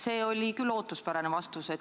See oli küll ootuspärane vastus.